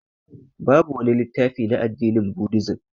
Babu wani littafi na addinin budizim